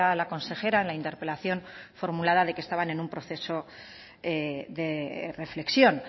la consejera en la interpelación formulada de que estaban en un proceso de reflexión